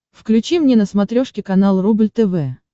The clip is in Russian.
включи мне на смотрешке канал рубль тв